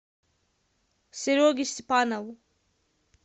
сереге степанову